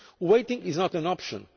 corner. Waiting is not an